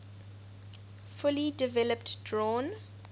fully developed drawn